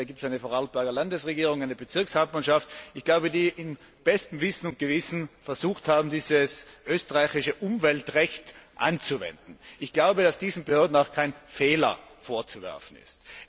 Es gibt eine Vorarlberger Landesregierung, eine Bezirkshauptmannschaft, die nach bestem Wissen und Gewissen versucht haben, dieses österreichische Umweltrecht anzuwenden. Ich glaube, dass diesen Behörden auch kein Fehler vorzuwerfen ist.